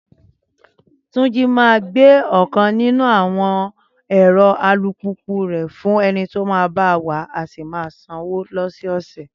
Túnjí máa gbé ọ̀kan nínú àwọn ẹ̀rọ alùpùpù rẹ̀ fún ẹni tá máa ba wàá, á sì máa gbowó lọ́sẹ̀ẹ̀sẹ̀